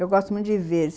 Eu gosto muito de ver.